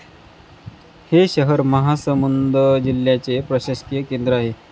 हे शहर महासमुंद जिल्ह्याचे प्रशासकीय केंद्र आहे.